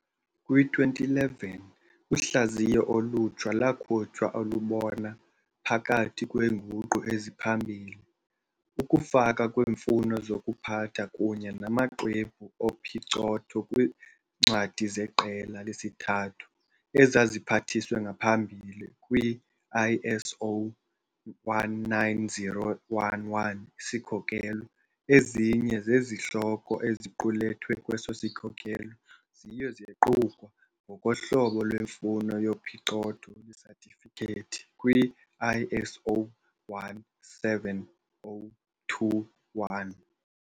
Kwi-2011, uhlaziyo olutsha lwakhutshwa olubona, phakathi kweenguqu eziphambili, ukufaka kweemfuno zokuziphatha kunye namaxwebhu ophicotho kwiincwadi zeqela lesithathu, ezaziphathiswe ngaphambili kwi- ISO 19011 isikhokelo, ezinye zezihloko eziqulethwe kweso sikhokelo ziye zequkwa, ngokohlobo lwemfuno yophicotho lwesatifikethi, kwi-ISO 17021.